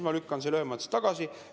Ma lükkan selle ühemõtteliselt tagasi.